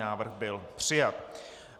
Návrh byl přijat.